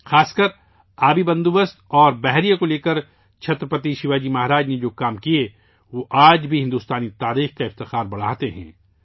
خاص طور پر پانی کے بندوبست اور بحریہ کے حوالے سے چھترپتی شیواجی مہاراج نے جو کام کیے، وہ آج بھی بھارت کی تاریخ کے وقار میں اضافہ کرتے ہیں